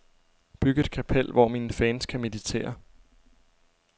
Byg et kapel, hvor mine fans kan meditere.